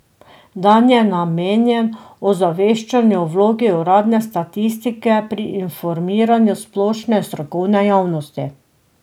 Dan je namenjen ozaveščanju o vlogi uradne statistike pri informiranju splošne in strokovne javnosti.